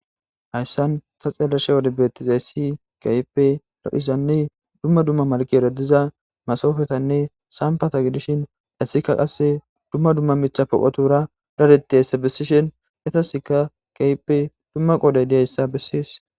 Hayssan ta xeeleshe wode betizayssi kayipe lo7izanne dumma dumma malkeradiza masoofetanne sampata gidishin hessikka qasse dumma dumma micha poqotura radeti hessa bessishen etasekka kayipe dumma qooday diyayssa bessees.